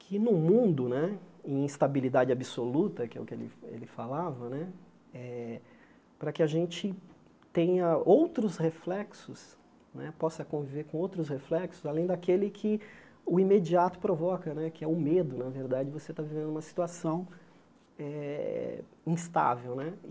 que no mundo né, em instabilidade absoluta, que é o que ele ele falava né, eh para que a gente tenha outros reflexos né, possa conviver com outros reflexos, além daquele que o imediato provoca né, que é o medo, na verdade, você está vivendo uma situação eh instável né.